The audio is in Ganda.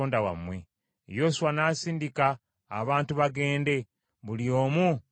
Yoswa n’asindika abantu bagende, buli omu mu mugabo gwe.